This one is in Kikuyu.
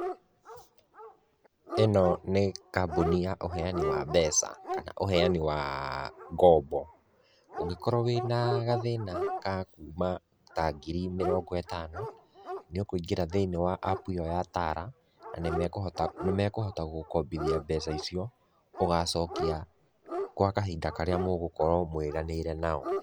Ĩno nĩ kambũni ya ũheani wa mbeca kana ũheani wa ngombo. Ũngĩkorũo wĩ na gathĩna ka kuuma ta ngiri mĩrongo ĩtano, nĩ ũkũingĩra thĩinĩ wa app ĩo ya Tala, nĩ mekũhota nĩ mekũhota gũgũkombithia mbeca icio ũgacokia kwa kahinda karĩa mũgũkorũo mwĩranĩire nao.